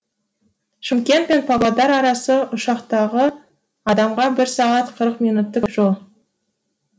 шымкент пен павлодар арасы ұшақтағы адамға бір сағат қырық минуттық жол